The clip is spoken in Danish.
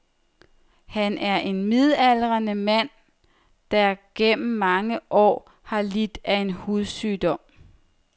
Han er en midaldrende mand, der gennem mange år har lidt af en hudsygdom.